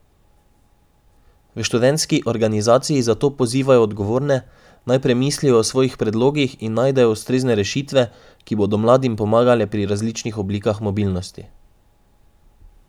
V študentski organizaciji zato pozivajo odgovorne, naj premislijo o svojih predlogih in najdejo ustrezne rešitve, ki bodo mladim pomagale pri različnih oblikah mobilnosti.